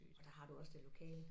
Og der har du også det lokale